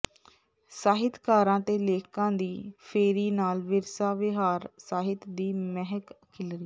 ਸਾਹਿਤਕਾਰਾਂ ਤੇ ਲੇਖਕਾਂ ਦੀ ਫੇਰੀ ਨਾਲ ਵਿਰਸਾ ਵਿਹਾਰ ਸਾਹਿਤ ਦੀ ਮਹਿਕ ਖਿੱਲਰੀ